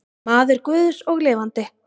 Maður guðs og lifandi.